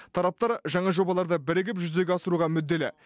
тараптар жаңа жобаларды бірігіп жүзеге асыруға мүдделі